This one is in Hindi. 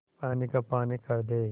पानी का पानी कर दे